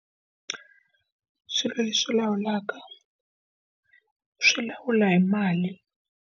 Swilo leswi lawulaka, swi lawula hi mali.